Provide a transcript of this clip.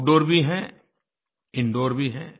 out दूर भी हैं इंदूर भी हैं